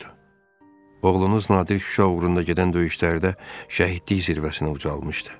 Oğlunuz Nadir Şuşa uğrunda gedən döyüşlərdə şəhidlik zirvəsinə ucalmışdı.